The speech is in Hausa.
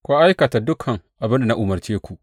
Ku aikata dukan abin da na umarce ku.